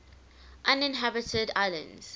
uninhabited islands